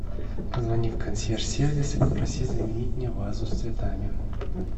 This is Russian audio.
позвони в консьерж сервис и попроси заменить мне вазу с цветами